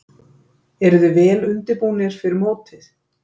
Eruð þið vel undirbúnir fyrir mótið?